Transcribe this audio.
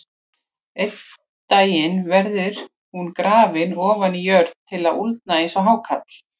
Einn daginn verður hún grafin ofan í jörð til að úldna eins og hákarl.